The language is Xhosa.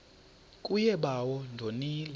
kuye bawo ndonile